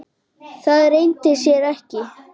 Það leyndi sér ekki.